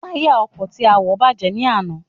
Táyà ọkọ̀ tí a wọ̀ bàjẹ́ ní àná